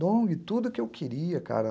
Dong, tudo que eu queria, cara.